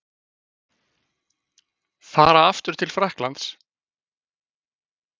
Fara aftur til Frakklands?